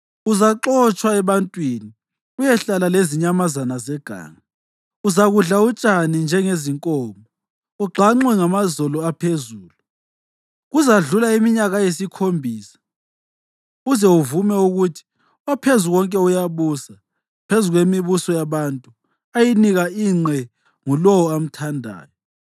Uzaxotshwa ebantwini uyehlala lezinyamazana zeganga: uzakudla utshani njengezinkomo, ugxanxwe ngamazolo aphezulu. Kuzakudlula iminyaka eyisikhombisa uze uvume ukuthi oPhezukonke uyabusa phezu kwemibuso yabantu ayinika ingqe ngulowo amthandayo.